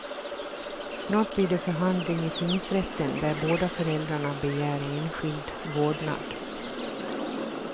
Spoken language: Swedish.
Snart blir det förhandling i tingsrätten, där båda föräldrarna begär enskild vårdnad.